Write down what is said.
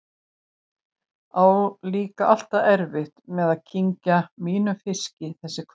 Á líka alltaf erfitt með að kyngja mínum fiski þessi kvöld.